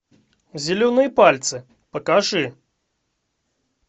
зеленые пальцы покажи